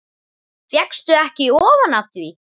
Fékkst ekki ofan af því.